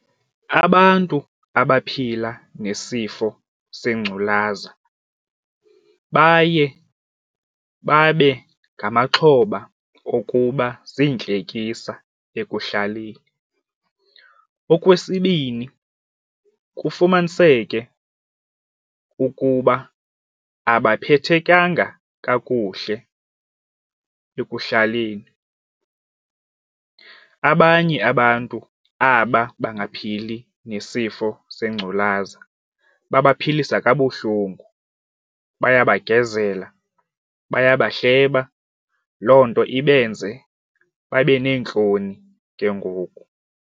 Abantu abaphila nesifo sengculaza baye babe ngamaxhoba okuba ziintlekisa ekuhlaleni. Okwesibini, kufumaniseke ukuba abaphethekanga kakuhle ekuhlaleni. Abanye abantu aba bangaphili nesifo sengculaza babaphilisa kabuhlungu, bayabagezela baya bahleba. Loo nto ibenze babe neentloni ke ngoku.